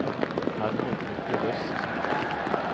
Hermod Myklebust